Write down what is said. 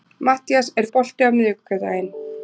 Mattías, er bolti á miðvikudaginn?